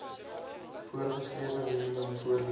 voorgeskrewe minimum voordele